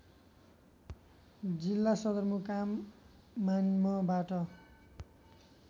जिल्ला सदरमुकाम मान्मबाट